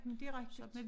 Men det rigtigt